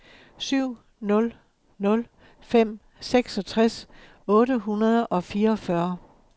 syv nul nul fem seksogtres otte hundrede og fireogfyrre